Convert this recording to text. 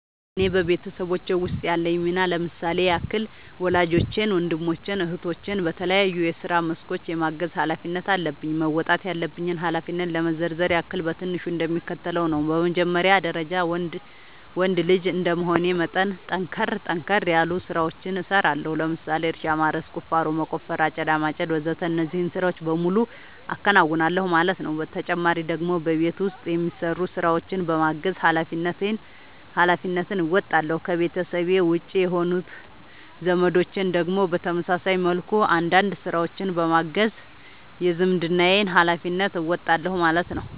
እኔ በቤተሰቦቼ ውስጥ ያለኝ ሚና ለምሳሌ ያክል ወላጆቼን ወንድሞቼን እህቶቼን በተለያዩ የስራ መስኮች የማገዝ ኃላፊነት አለብኝ። መወጣት ያለብኝን ኃላፊነት ለመዘርዘር ያክል በትንሹ እንደሚከተለው ነው በመጀመሪያ ደረጃ ወንድ ልጅ እንደመሆኔ መጠን ጠንከር ጠንከር ያሉ ስራዎችን እሰራለሁ ለምሳሌ እርሻ ማረስ፣ ቁፋሮ መቆፈር፣ አጨዳ ማጨድ ወዘተ እነዚህን ስራዎች በሙሉ አከናውናል ማለት ነው ተጨማሪ ደግሞ በቤት ውስጥ የሚሰሩ ስራዎችን በማገዝ ሃላፊነትን እንወጣለሁ። ከቤተሰቤ ውጪ የሆኑት ዘመዶቼን ደግሞ በተመሳሳይ መልኩ አንዳንድ ስራዎችን በማገዝ የዝምድናዬን ሀላፊነት እወጣለሁ ማለት ነው